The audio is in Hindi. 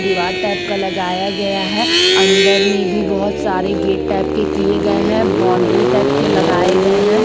दीवार टाइप का लगाया गया है अंदर में भी बहुत सारे गेट टाइप के किए गए हैं बाउंड्री टाइप के लगाए गए हैं।